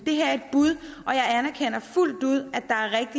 det her er et bud og jeg anerkender fuldt ud